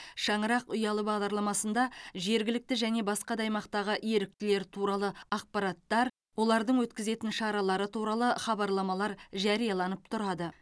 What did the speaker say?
шаңырақ ұялы бағдарламасында жергілікті және басқа да аймақтағы еріктілер туралы ақпараттар олардың өткізетін шаралары туралы хабарламалар жарияланып тұрады